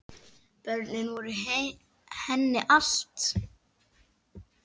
Börnin voru henni allt.